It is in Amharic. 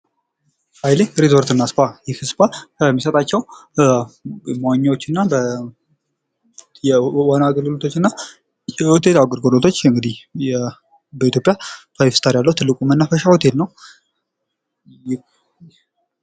ሃይሌ ሪዞርት እና ስፓ ፤ ይህ ስፓ ከሚሰጣቸው የመዋኛዎች እና የዋና አገልግሎቶች እና የሆቴል አገልግሎቶች እንግዲህ በኢትዮጵያ ፋይፍ ስታር ያለው ትልቁ መናፈሻ ሆቴል ነው።